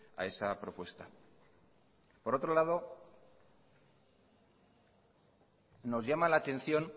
a esa propuesta por otro lado nos llama la atención